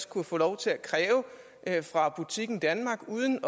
kunne få lov til at kræve fra butikken danmark uden